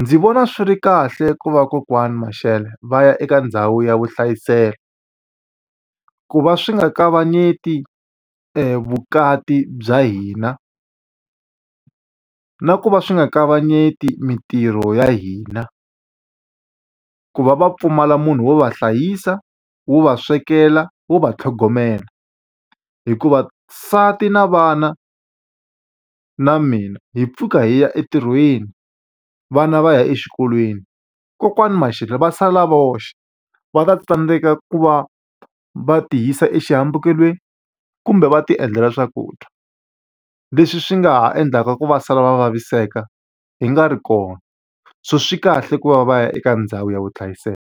ndzi vona swi ri kahle ku va kokwani Mashele va ya eka ndhawu ya vuhlayiselo. Ku va swi nga kavanyeti vukati bya hina, na ku va swi nga kavanyeti mitirho ya hina. Ku va va pfumala munhu wo va hlayisa, wo va swekela, wo va tlhogomela. Hikuva nsati na vana na mina hi pfuka hi ya entirhweni, vana va ya exikolweni. Kokwani Mashele va sala voxe, va ta tsandzeka ku va va ti yisa exihambekelweni kumbe va ti endlela swakudya. Leswi swi nga ha endlaka ku va sala va vaviseka hi nga ri kona. So swi kahle ku va va ya eka ndhawu ya vuhlayiselo.